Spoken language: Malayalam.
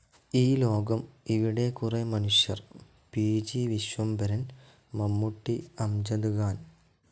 ഈ ലോകം ഇവിടെ കുറേ മനുഷ്യർ പി.ജി. വിശ്വംഭരൻ മമ്മൂട്ടി, അംജദ് ഖാൻ